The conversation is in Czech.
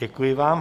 Děkuji vám.